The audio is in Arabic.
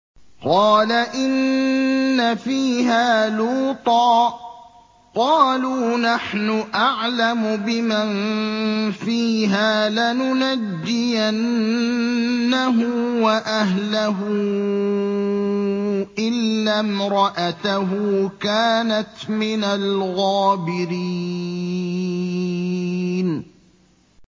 قَالَ إِنَّ فِيهَا لُوطًا ۚ قَالُوا نَحْنُ أَعْلَمُ بِمَن فِيهَا ۖ لَنُنَجِّيَنَّهُ وَأَهْلَهُ إِلَّا امْرَأَتَهُ كَانَتْ مِنَ الْغَابِرِينَ